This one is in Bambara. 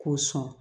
K'o sɔn